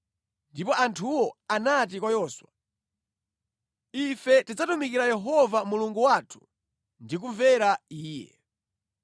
Ndipo anthuwo anati kwa Yoswa, “Ife tidzatumikira Yehova Mulungu wathu ndi kumvera Iye.”